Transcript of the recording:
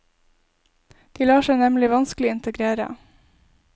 De lar seg nemlig vanskelig integrere.